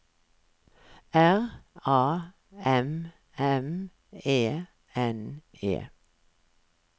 R A M M E N E